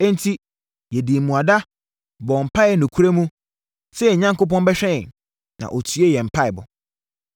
Enti, yɛdii mmuada, bɔɔ mpaeɛ nokorɛ mu, sɛ yɛn Onyankopɔn bɛhwɛ yɛn, na ɔtiee yɛn mpaeɛbɔ.